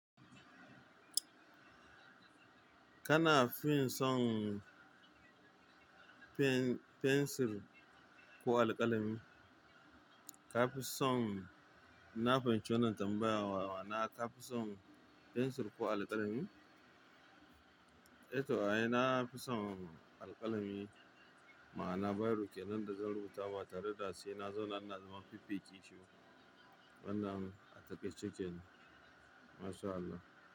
Kana fin son pensil ko alkalami? Kafi son, inna fahimci wannan tambaya ma'ana ka fi son pensil ko alkalami? Eh to ai na fi son alkalami ma ana biro kenan da zan rubuta ba tare da sai na zauna ina zaman fiffike shiba. Wannan a takaice kenan. Masha Allah.